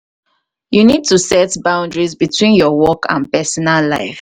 you need to set boundaries between your work and pesinal life.